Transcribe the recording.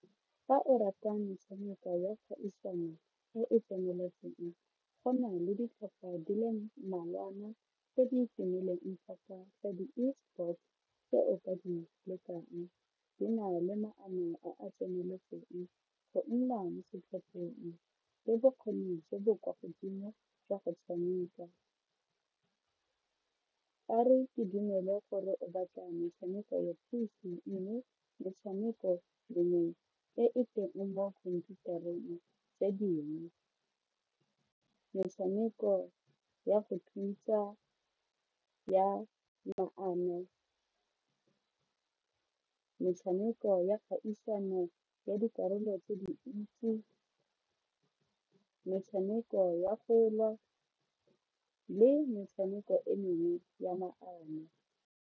Fa o rata metshameko ya kgaisano e e tseneletseng go na le ditlhopha di le mmalwana tse di tumileng thata tsa di esport tse o ka di lekang di na le maano a a tseneletseng go nna mo setlhopheng le bokgoni jo bo kwa godimo jwa go tshameka, gore ke dumele gore o batla metshameko ya metshameko tse dingwe, metshameko ya go thuntsa ya maano, metshameko ya kgaisano ya dikarolo tse di ntsi, metshameko ya go lwa le metshameko e mengwe ya maano.